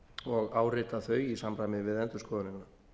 og áritað þau í samræmi við endurskoðunina